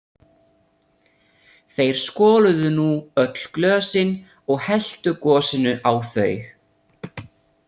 Þeir skoluðu nú öll glösin og helltu gosinu á þau.